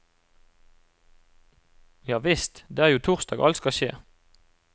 Javisst, det er jo torsdag alt skal skje.